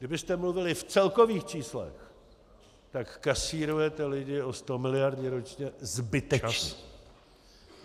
Kdybyste mluvili v celkových číslech, tak kasírujete lidi o sto miliard ročně zbytečně.